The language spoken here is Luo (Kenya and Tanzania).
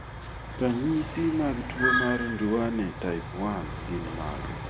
Ranyisi mag tuwo mar Duane type 1 gin mage?